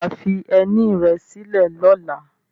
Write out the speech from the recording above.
Ṣé wà á fi ẹní rẹ sílẹ̀ lọ́la?